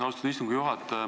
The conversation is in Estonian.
Austatud minister!